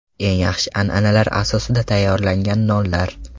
Eng yaxshi an’analar asosida tayyorlangan nonlar!.